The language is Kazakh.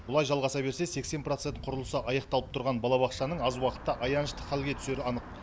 бұлай жалғаса берсе сексен процент құрылысы аяқталып тұрған балабақшаның аз уақытта аянышты халге түсері анық